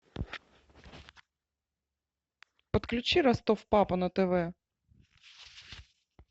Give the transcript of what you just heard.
подключи ростов папа на тв